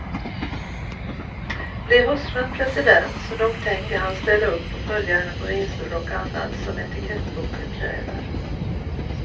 Blir hustrun president, så nog tänker han ställa upp och följa henne på resor och annat, som etikettboken kräver.